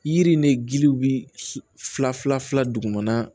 Yiri ni giliw bɛ fila fila dugumana